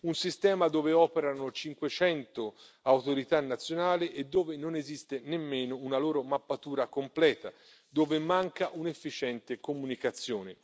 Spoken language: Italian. Un sistema dove operano 500 autorità nazionali e dove non esiste nemmeno una loro mappatura completa, dove manca un'efficiente comunicazione.